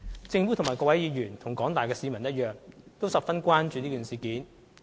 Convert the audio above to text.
政府與各位議員，以及廣大市民一樣，亦十分關注事件。